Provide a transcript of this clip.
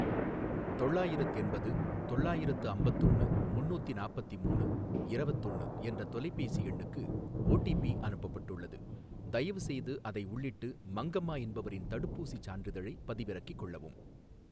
தொள்ளாயிரத்தெண்பது தொள்ளாயிரத்து அம்பத்தொன்னு முன்னூத்தி நாப்பத்திமூனு இரவத்தொன்னு என்ற தொலைபேசி எண்ணுக்கு ஓடிபி அனுப்பப்பட்டுள்ளது. தயவுசெய்து அதை உள்ளிட்டு மங்கம்மா என்பவரின் தடுப்பூசிச் சான்றிதழைப் பதிவிறக்கிக் கொள்ளவும்